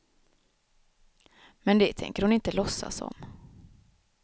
Men det tänker hon inte låtsas om.